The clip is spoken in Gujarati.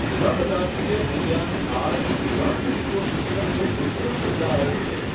રણ રાષ્ટ્રીય ઉદ્યાન થાર રણની ઇકોસિસ્ટમનું ઉત્કૃષ્ટ ઉહાહરણ છે.